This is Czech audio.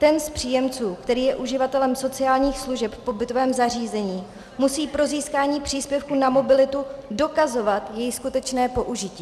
Ten z příjemců, který je uživatelem sociálních služeb v pobytovém zařízení, musí pro získání příspěvku na mobilitu dokazovat jeho skutečné použití.